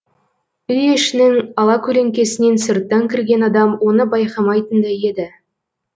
үй ішінің алакөлеңкесінен сырттан кірген адам оны байқамайтындай еді